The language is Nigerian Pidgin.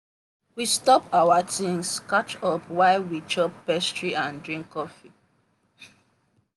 we stop our tings catch up while we chop pastry and drink coffee.